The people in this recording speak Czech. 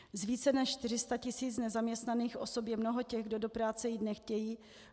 Z více než 400 000 nezaměstnaných osob je mnoho těch, kdo do práce jít nechtějí.